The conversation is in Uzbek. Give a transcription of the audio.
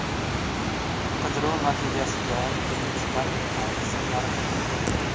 Qidiruv natijasida dengizdan metall qismlari topilgan.